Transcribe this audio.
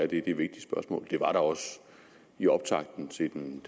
det er et vigtigt spørgsmål det var der også i optakten til den